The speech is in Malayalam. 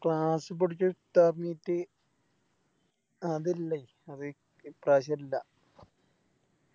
Class പഠിച്ചേ ഇഫ്താർ Meet അതില്ലേയ് ഇപ്പ്രാവശ്യോ ഇല്ല